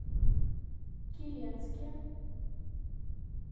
киренске